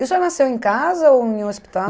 E o senhor nasceu em casa ou em um hospital?